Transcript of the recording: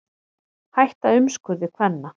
Hætta umskurði kvenna